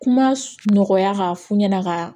Kuma nɔgɔya k'a fɔ ɲɛna ka